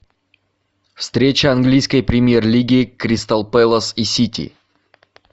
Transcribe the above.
встреча английской премьер лиги кристал пэлас и сити